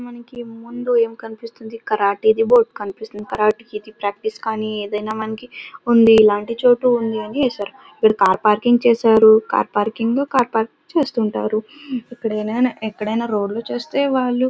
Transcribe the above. మనకి ముందు ఏం కనిపిస్తుంది కరాటీ ది బోర్డు కనిపిస్తుంది. కరాటీ ఇదే ప్రాక్టీస్ కానీ ఏదైనా మనకి ఉంది. ఇలాంటి చోటు ఉన్నది అని వేశారు. ఇక్కడ కార్ పార్కింగ్ చేశారు. కార్ పార్కింగు కార్ పార్కింగ్ చేస్తుంటారు. ఇక్కడేనా ఎక్కడైనా రోడ్ లు చూస్తే వాళ్ళు --